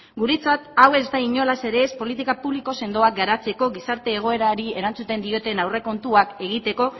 guretzat hau ez da inolaz ere politika publiko sendoa garatzeko gizarte egoerari erantzuten dioten aurrekontuak egiteko